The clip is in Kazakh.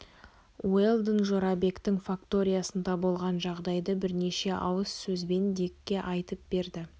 уэлдон жорабектің факториясында болған жағдайды бірнеше ауыз сөзбен дикке айтып берді